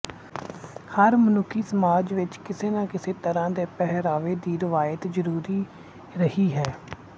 ਹਰ ਮਨੁੱਖੀ ਸਮਾਜ ਵਿੱਚ ਕਿਸੇ ਨਾ ਕਿਸੇ ਤਰ੍ਹਾਂ ਦੇ ਪਹਿਰਾਵੇ ਦੀ ਰਵਾਇਤ ਜਰੂਰੀ ਰਹੀ ਹੈ